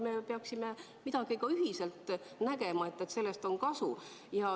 Me peaksime ühiselt nägema, et sellest on kasu.